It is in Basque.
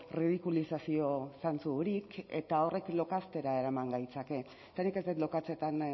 ridikulizazio zantzurik eta horrekin lokaztera eraman gaitzake eta nik ez dut lokatzetan